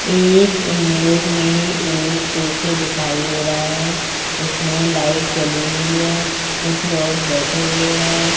इस इमेज़ में एक कैफे दिखाई दे रहा है इसमें लाइट जली हुई है कुछ लोग बैठे हुए है।